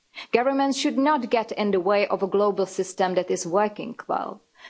Governments should not get in the way of a global system that is working well.